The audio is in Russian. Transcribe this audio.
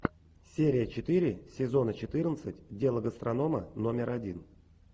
серия четыре сезона четырнадцать дело гастронома номер один